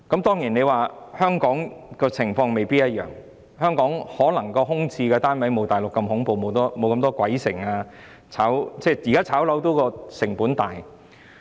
當然，香港的情況未必一樣，香港的空置單位可能沒有大陸般恐怖，沒那麼多"鬼城"，因為現時炒賣房屋的成本很高。